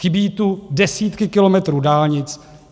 Chybí tu desítky kilometrů dálnic.